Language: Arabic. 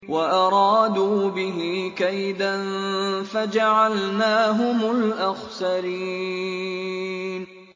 وَأَرَادُوا بِهِ كَيْدًا فَجَعَلْنَاهُمُ الْأَخْسَرِينَ